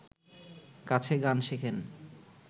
কাছে গান শেখেন